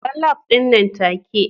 bar lab din nan take